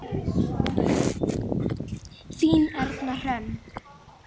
Þín Erna Hrönn.